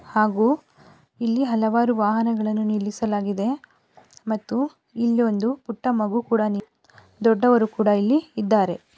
ಹಾಗೂ ಇಲ್ಲಿ ಹಲವಾರು ವಾಹನಗಳನ್ನು ನಿಲ್ಲಿಸಲಾಗಿದೆ ಮತ್ತು ಇಲ್ಲಿ ಒಂದು ಪುಟ್ಟ ಮಗು ಕೂಡ ನಿನ್ ದೊಡ್ಡವರು ಕೂಡ ಇಲ್ಲಿ ಇದ್ದಾರೆ.